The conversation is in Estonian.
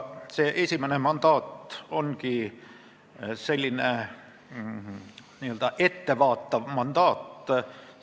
See esimene mandaat ongi selline n-ö ettevaatav mandaat.